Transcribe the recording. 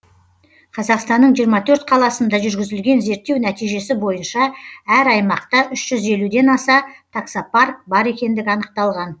қазақстанның жиырма төрт қаласында жүргізілген зерттеу нәтижесі бойынша әр аймақта үш жүз елуден аса таксопарк бар екендігі анықталған